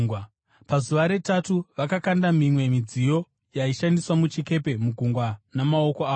Pazuva retatu, vakakanda mimwe midziyo yaishandiswa muchikepe mugungwa namaoko avo.